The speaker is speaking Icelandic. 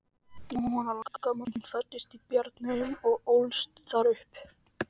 Jóhanna, langamma mín, fæddist í Bjarneyjum og ólst þar upp.